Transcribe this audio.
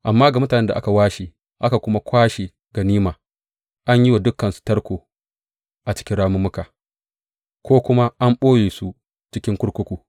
Amma ga mutanen da aka washe aka kuma kwashe ganima, an yi wa dukansu tarko a cikin rammuka ko kuma an ɓoye su cikin kurkuku.